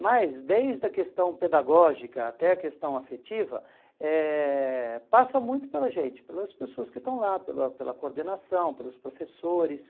Mas, desde a questão pedagógica até a questão afetiva, eh passa muito pela gente, pelas pessoas que estão lá, pela pela coordenação, pelos professores.